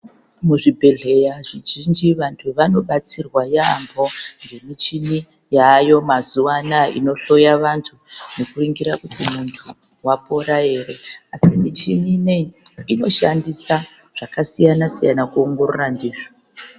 Muzvibhedhleya zvizhinji vanthu vanobatsirwa yaambho ngemichini yaayo mazuwa anaa inohloya vanthu nekuningira kuti munthu wapora ere asi michini inei inoshandisa zvakasiyana siyana kuongorora ndizvo.